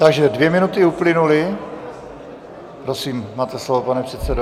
Takže dvě minuty uplynuly, prosím, máte slovo, pane předsedo.